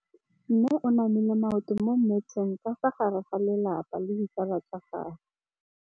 Mme o namile maoto mo mmetseng ka fa gare ga lelapa le ditsala tsa gagwe.